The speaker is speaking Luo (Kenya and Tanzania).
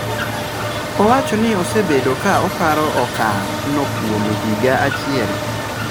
Owachoni osebedo ka oparo okang' no kuom higa achiel.